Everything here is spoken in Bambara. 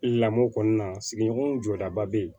Lamɔ kɔnɔna sigiɲɔgɔnw jɔdaba be yen